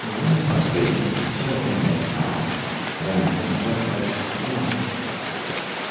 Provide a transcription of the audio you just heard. ну пошли же чего ты опять стала твоя маменька хватится нас